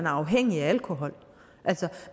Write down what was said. afhængig af alkohol